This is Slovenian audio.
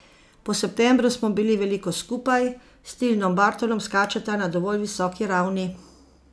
Po septembru smo bili veliko skupaj, s Tilnom Bartolom skačeta na dovolj visoki ravni.